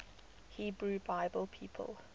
hebrew bible people